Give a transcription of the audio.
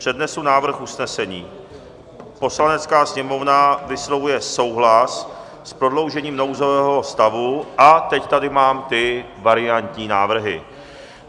Přednesu návrh usnesení: "Poslanecká sněmovna vyslovuje souhlas s prodloužením nouzového stavu" - a teď tady mám ty variantní návrhy.